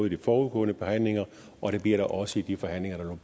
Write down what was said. de forudgående forhandlinger og det bliver der også i de forhandlinger der